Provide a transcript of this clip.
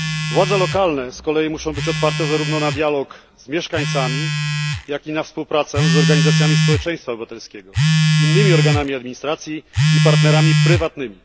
Władze lokalne z kolei muszą być otwarte zarówno na dialog z mieszkańcami, jak i na współpracę z organizacjami społeczeństwa obywatelskiego, innymi organami administracji i partnerami prywatnymi.